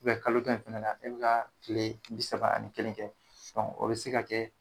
kalo dɔ in fɛnɛ na e ka kile bi saba ani kelen kɛ o bi se ka kɛ